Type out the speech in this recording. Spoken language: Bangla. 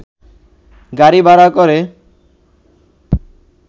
গাড়ি ভাড়া করে